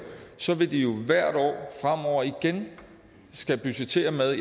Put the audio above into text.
så vil de jo hvert år fremover igen skulle budgettere med